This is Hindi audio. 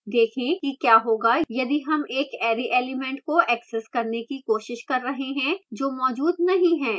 देखें कि क्या होगा यदि हम एक अरै element को access करने की कोशिश कर रहे हैं जो मौजूद नहीं है